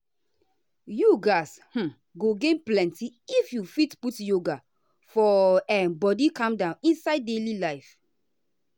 you um um go gain plenty if you fit put yoga for um body calm inside your daily life.